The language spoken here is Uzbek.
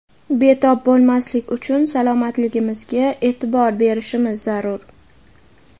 betob bo‘lmaslik uchun salomatligimizga e’tibor berishimiz zarur.